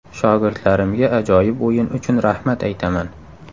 Shogirdlarimga ajoyib o‘yin uchun rahmat aytaman.